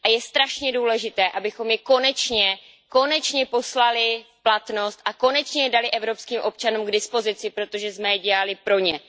Je strašně důležité, abychom je konečně, konečně poslali v platnost a konečně je dali evropským občanům k dispozici, protože jsme je dělali pro ně.